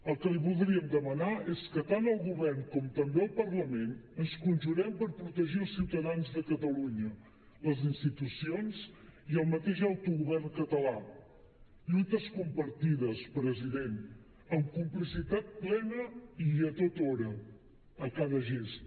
el que li voldríem demanar és que tant el govern com també el parlament ens conjurem per protegir els ciutadans de catalunya les institucions i el mateix autogovern català lluites compartides president amb complicitat plena i a tota hora a cada gest